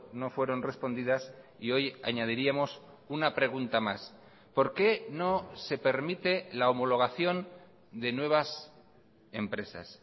no fueron respondidas y hoy añadiríamos una pregunta más por qué no se permite la homologación de nuevas empresas